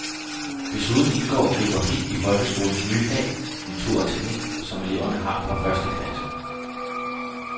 Desuden indgår geografi i folkeskolens nye fag natur og teknik, som eleverne har fra første klasse.